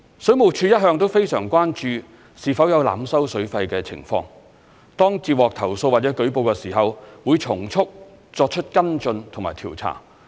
水務署一向非常關注是否有濫收水費的情況，當接獲投訴或舉報時，會從速作出跟進和調查。